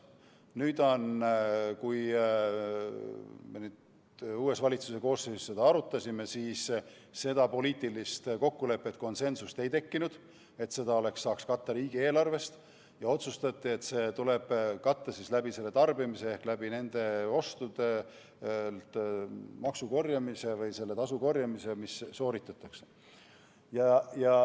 Nüüd, kui me uues valitsuse koosseisus seda arutasime, siis ei tekkinud poliitilist kokkulepet, konsensust selles, et tasu saaks katta riigieelarvest, ja otsustati, et see tuleb katta siis tarbimise kaudu ehk raha tuleb korjata sooritatud ostudelt.